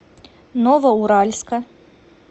новоуральска